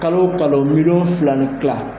Kalo kalo miliyɔn fila ni tila